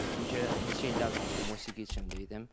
Çünki neçə illərdir onsuz da musiqi içində idim.